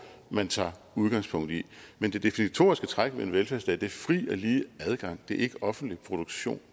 man tager udgangspunkt i men det definitoriske træk ved en velfærdsstat er fri og lige adgang ikke offentlig produktion